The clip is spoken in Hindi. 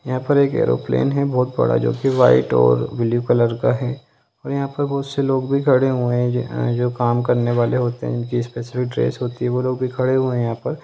यहां पर एक एरोप्लेन है बहुत बड़ा जो कि व्हाइट और ब्लू कलर का है और यहां पर बहुत से लोग भी खड़े हुए है जो जो काम करने वाले होते है इनकी स्पेशल ड्रेस होती है वो लोग भी खड़े हुए है यहां पर।